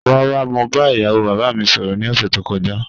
Rara, mo ba iyawo baba mi sọrọ ni ọsẹ to kọja